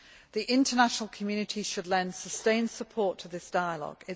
The international community should lend sustained support to this dialogue.